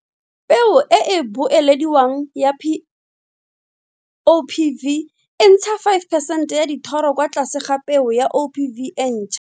Peo e e boelediwang ya P OPV e ntsha 5 percent ya dithoro kwa tlase ga peo ya OPV e ntšhwa.